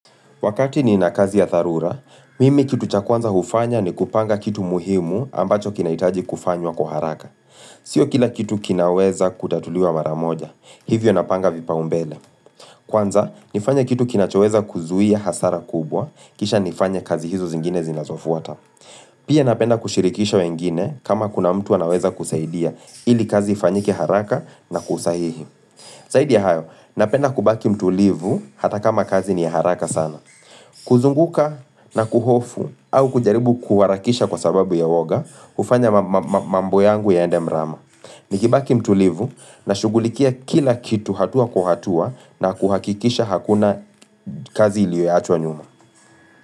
Wakati ni na kazi ya dharura, mimi kitu cha kwanza hufanya ni kupanga kitu muhimu ambacho kina hitaji kufanywa kuharaka. Sio kila kitu kinaweza kutatuliwa mara moja, hivyo napanga vipaumbele. Kwanza, nifanya kitu kina choweza kuzuia hasara kubwa, kisha nifanye kazi hizo zingine zinazofuata. Pia napenda kushirikisha wengine kama kuna mtu manaweza kusaidia ili kazi ifanyike haraka na kwa usahihi. Saidia hayo, napenda kubaki mtulivu hata kama kazi ni haraka sana. Kuzunguka na kuhofu au kujaribu kuwarakisha kwa sababu ya uoga hufanya ma ma mambo yangu yaende mrama Nikibaki mtulivu na shugulikia kila kitu hatua kwa hatua na kuhakikisha hakuna kazi ilioyoachwa nyuma.